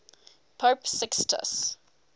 pope sixtus